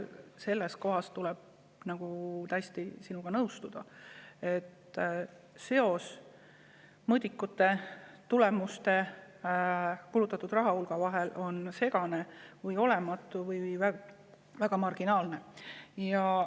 Selles mõttes tuleb sinuga täiesti nõustuda, et seos mõõdikute, tulemuste ja kulutatud rahahulga vahel on segane, olematu või väga marginaalne.